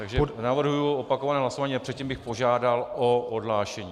Takže navrhuji opakované hlasování a předtím bych požádal o odhlášení.